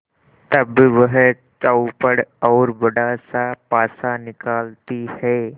तब वह चौपड़ और बड़ासा पासा निकालती है